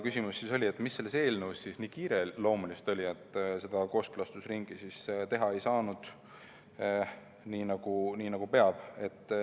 Küsimus oli, mis selles eelnõus siis nii kiireloomulist oli, et kooskõlastusringi teha ei saanud, nagu peab.